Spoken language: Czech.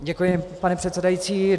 Děkuji, pane předsedající.